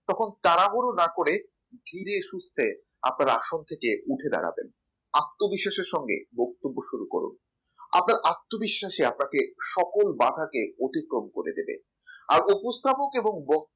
তখন তাড়াহুড়ো না করে ধীরে সুস্থে আপনার আসন থেকে উঠে দাঁড়াবেন আত্মবিশ্বাসের সঙ্গে বক্তব্য শুরু করুন আপনার আত্মবিশ্বাসী আপনাকে সকল বাঁধাকে অতিক্রম করে দেবে আর উপস্থাপক এবং বক্তব্য